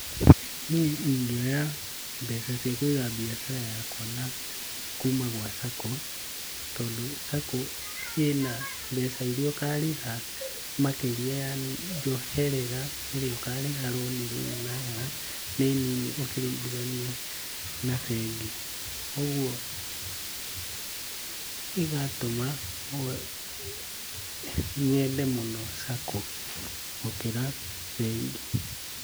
Niĩ ingĩoya mbeca ciakwa kuuma gwa SACCO, tondũ SACCO ĩna mbeca iria ũkarĩhia makĩria kana njoherera ĩrĩa ũkarĩha rũni rũu nayo nĩnini ũkĩringithania na bengi. ũguo ĩgatũma nyende mũno SACCO gũkĩra bengi.